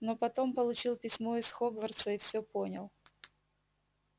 но потом получил письмо из хогвартса и всё понял